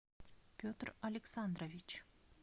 петр александрович